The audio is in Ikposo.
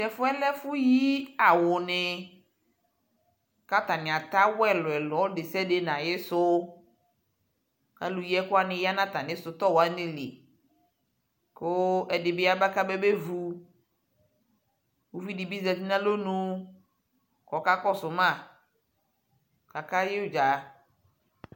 Tɛfu yɛ lɛ ɛfuyi awu ni kʋ atani atɛ awu ɛlʋɛlʋ Ɔlʋdesiade nʋ ayʋsʋ kʋ alʋyi ɛkʋ wanj ya nʋ atami sitɔwanj lι kʋ ɛdi bι yaba kababevu Uvi dι bι ya alonu ku ɔkakɔsuma kakayɛ udza